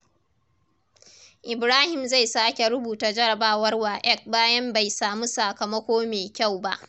Ibrahim zai sake rubuta jarabawar WAEC bayan bai samu sakamako mai kyau ba.